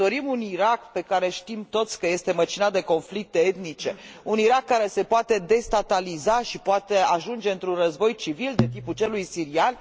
Ne dorim un Irak despre care știm toți că este măcinat de conflicte etnice, un Irak care se poate destataliza și poate ajunge într un război civil, de tipul celui sirian?